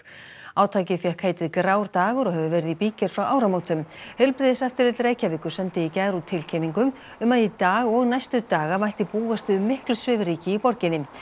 átakið fékk heitið grár dagur og hefur verið í bígerð frá áramótum heilbrigðiseftirlit Reykjavíkur sendi í gær út tilkynningu um að í dag og næstu daga mætti búast við miklu svifryki í borginni